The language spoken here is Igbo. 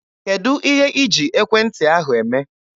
Kedụ ihe iji ekwentị ahụ eme?